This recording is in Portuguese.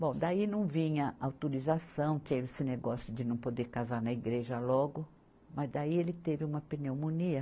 Bom, daí não vinha autorização, teve esse negócio de não poder casar na igreja logo, mas daí ele teve uma pneumonia.